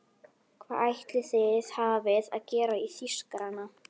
Hvað ætli þið hafið að gera í Þýskarana!